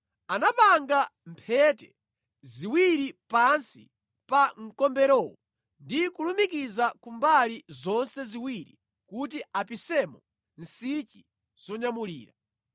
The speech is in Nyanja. Anapanga mphete ziwiri pansi pa mkomberowo ndi kulumikiza ku mbali zonse ziwiri kuti apisemo nsichi zonyamulira.